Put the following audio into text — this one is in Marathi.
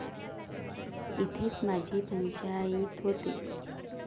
इथेच माझी पंचाईत होते.